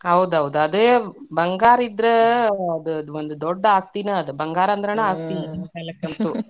ಹೌದೌದ್, ಅದೇ ಬಂಗಾರಿದ್ರ ಅದ ದೊಡ್ಡ ಆಸ್ತಿನ ಅದ್, ಬಂಗಾರ ಅಂದ್ರನ ಆಸ್ತಿ .